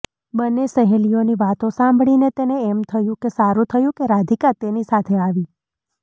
બંને સહેલીઓની વાતો સાંભળીને તેને એમ થયું કે સારું થયું કે રાધિકા તેની સાથે આવી